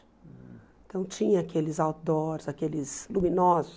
Então tinha aqueles outdoors, aqueles luminosos.